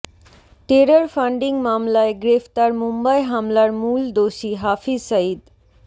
terror funding মামলায় গ্রেফতার মুম্বাই হামলার মূল দোষী হাফিজ সাঈদ